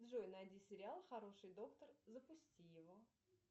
джой найди сериал хороший доктор запусти его